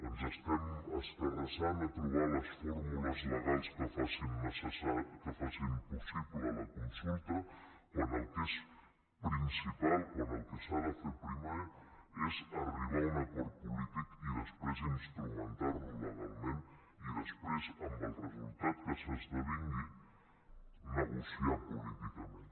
ens estem escarrassant a trobar les fórmules legals que facin possible la consulta quan el que és principal quan el que s’ha de fer primer és arribar a un acord polític i després instrumentar lo legalment i després amb el resultat que s’esdevingui negociar políticament